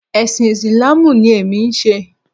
Ẹ̀sìn Ìsìláàmù ni èmi ń ṣe